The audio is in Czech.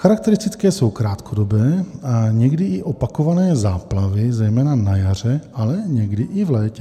Charakteristické jsou krátkodobé a někdy i opakované záplavy, zejména na jaře, ale někdy i v létě.